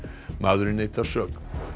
maðurinn neitar sök